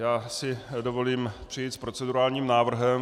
Já si dovolím přijít s procedurálním návrhem.